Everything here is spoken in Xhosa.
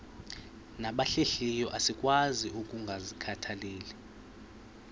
nabahlehliyo asikwazi ukungazikhathaieli